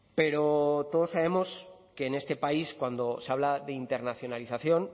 pero todos sabemos que en este país cuando se habla de internacionalización